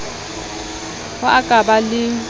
ho a ka ba le